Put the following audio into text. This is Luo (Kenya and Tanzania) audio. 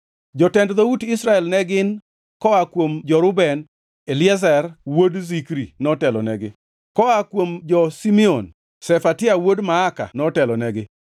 Jotend dhout Israel ne gin: koa kuom jo-Reuben: Eliezer wuod Zikri notelonegi, koa kuom jo-Simeon: Shefatia wuod Maaka notelonegi;